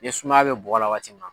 I ye sumaya bɛ bɔgɔ la waati min na.